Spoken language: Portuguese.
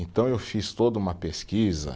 Então eu fiz toda uma pesquisa.